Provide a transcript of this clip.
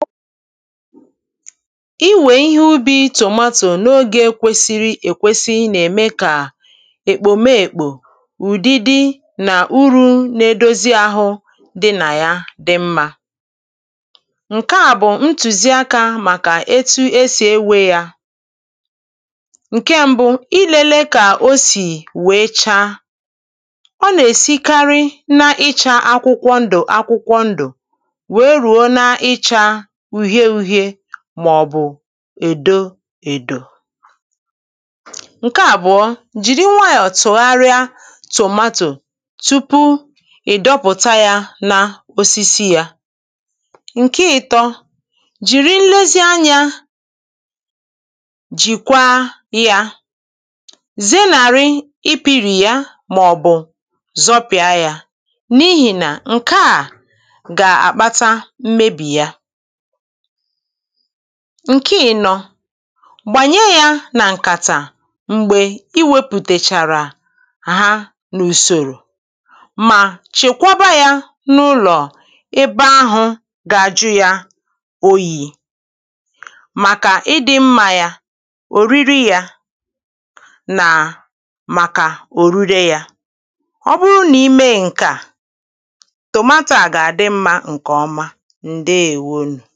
Ìwé ihe ubi̇ tụ̀zụ̀tụ̀ n’ogè kwesìrì èkwèsì nà-ème kà èkpòme èkpò ùdídi nà ụ̀rù nà-èdòzì ahụ dị nà ya dì mmá ǹkè à bụ̀ ntùzì àkà màkà etu esì ewè yà ǹkè mbụ, ìlèlè kà o sì wèe chaa ọ nà-èsìkarị n’ịchà akwụkwọ ndù, akwụkwọ ndù wèe rùo n’ịchà uhie-uhie mà ọ̀ bụ̀ èdò-èdò. ǹkè à bụ̀ ọ̀ jìrì nwayọ̀ tùgharịa tòmatò tupu ị̀ dọpụ̀tà yà n’osísí yà, ǹkè ịtọ̇ jìrì nlezíànýà jìkwa yà zènárị ịpì̇rì yà mà ọ̀ bụ̀ zòpị̀à yà n’íhìnà; ǹkè à gà-àkpàtà mmebì yà ǹkè ị̀nọ gbànye yà nà ǹkàtà m̀gbè i wepụ̀tèrèchàrà ha n’ùsòrò mà chekwàbà yà n’ụlọ̀, ebe ahụ̇ gà-àjụ yà òyì màkà ịdị̇ mmá yà òrìrì yà, nà màkà òrìrì yà ọ̀ bụrụ̀ nà ìmè ǹkè à, tòmatò a gà-àdị mmá ǹkè ọma, ǹdeèwò ọnụ̀.